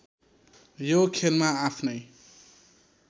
यो खेलमा आफ्नै